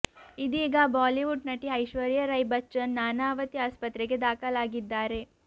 ಇದೀಗ ಬಾಲಿವುಡ್ ನಟಿ ಐಶ್ವರ್ಯಾ ರೈ ಬಚ್ಚನ್ ನಾನಾವತಿ ಆಸ್ಪತ್ರೆಗೆ ದಾಖಲಾಗಿದ್ದಾರೆ